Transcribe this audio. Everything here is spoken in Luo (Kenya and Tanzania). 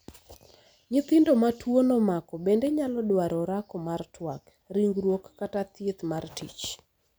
nyithindo ma tuono omako bende nyalo dwaro orako mar twak, ringruok kata thieth mar tich